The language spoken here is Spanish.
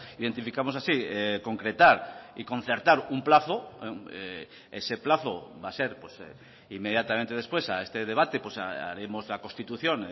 identificamos así concretar y concertar un plazo ese plazo va a ser inmediatamente después a este debate haremos la constitución